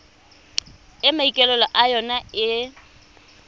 e maikaelelo a yona e